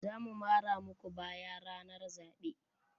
Za mu mara muku baya ranar zaɓe.